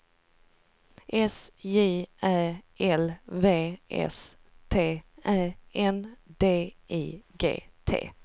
S J Ä L V S T Ä N D I G T